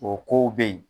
O kow be yen